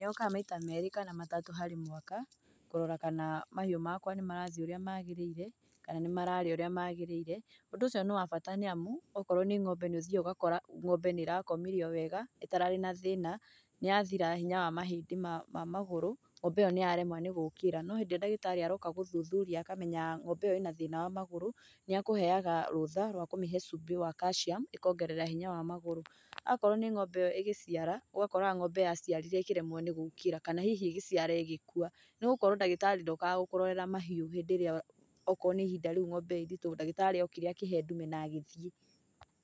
Nĩokaga maita meerĩ kana matatũ harĩ mwaka, kũrora kana mahiũ makwa nĩmarathiĩ ũrĩa magĩrĩire, kana nĩmararĩa ũrĩa magĩrĩire, ũndũ ũcio nĩ wa bata nĩ amu, okorwo nĩ ng'ombe nĩũthiaga ũgakora ng'ombe nĩĩrakomire o wega ĩtararĩ na thĩna, nĩyathira hĩnya wa mahĩndĩ ma magũrũ, ng'ombe ĩyo nĩyaremwo nĩgũũkĩra. No hĩndĩ ĩrĩa ndagĩtarĩ aroka gũthuthuria akamenya ng'ombe ĩyo ĩna thĩna wa magũrũ nĩakũheaga rutha rwa kũmĩhe cubĩ wa calcium ĩkongerera hinya wa magũrũ. Akorwo nĩ ng'ombe ĩyo ĩgĩciara, ũgakoraga ng'ombe yaciarire ĩkĩremwo nĩ gũũkĩra, kana hihi ĩgĩciara ĩgĩkua nĩgũkorwo ndagĩtarĩ ndokaga gũkũrorera mahiũ hĩndĩ ĩrĩa okorwo nĩ ihinda rĩu ng'ombe ĩĩ nditũ, ndagĩtarĩ okire akĩhe ndume na agĩthiĩ.